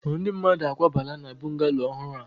Ndi mmadu akwabala na bungallooow ohuru ahu?